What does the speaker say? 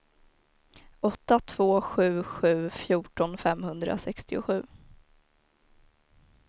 åtta två sju sju fjorton femhundrasextiosju